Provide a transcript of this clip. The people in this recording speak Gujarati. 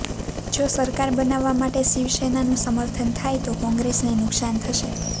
જો સરકાર બનાવવા માટે શિવસેનાનું સમર્થન થાય તો કોંગ્રેસને નુકસાન થશે